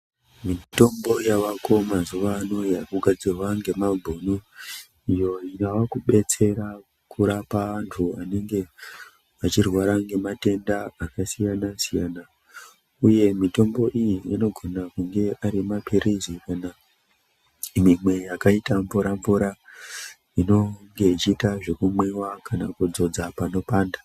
Mitombo yavako mazuwano yakugadzirwa ngemabhunu iyo yakubetsera kurapa antu anenge achirwara ngematenda akasiyana-siyana uye mitombo iyi inogona kunge ari maphirizi kana mimwe yakaita mvura-mvura inonge ichiita zvekumwiwa kana kudzodza panopanda.